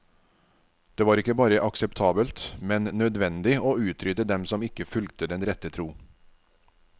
Det var ikke bare akseptabelt, men nødvendig å utrydde dem som ikke fulgte den rette tro.